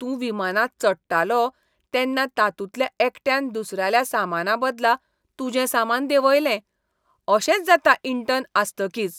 तूं विमानांत चडटालो तेन्ना तातूंतल्या एकट्यान दुसऱ्याल्या सामानाबदला तुजें सामान देंवयलें. अशेंच जाता इंटर्न आसतकीच .